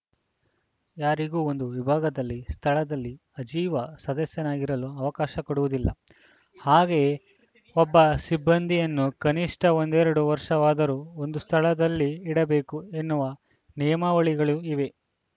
ಯಾರಿಗೂ ಒಂದು ವಿಭಾಗದಲ್ಲಿ ಸ್ಥಳದಲ್ಲಿ ಆಜೀವ ಸದಸ್ಯನಾಗಿರಲು ಅವಕಾಶ ಕೊಡುವುದಿಲ್ಲ ಹಾಗೆಯೇ ಒಬ್ಬ ಸಿಬ್ಬಂದಿಯನ್ನು ಕನಿಷ್ಠ ಒಂದೆರಡು ವರ್ಷವಾದರೂ ಒಂದು ಸ್ಥಳದಲ್ಲಿ ಇಡಬೇಕು ಎನ್ನುವ ನಿಯಮಾವಳಿಗಳೂ ಇವೆ